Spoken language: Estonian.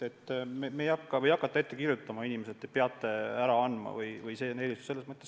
Ei hakata inimestele ette kirjutama, et te peate biojäätmed ära andma.